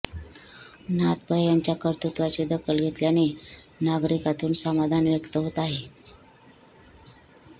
नाथ पै यांच्या कर्तृत्वाची दखल घेतल्याने नागरिकांतून समाधान व्यक्त होत आहे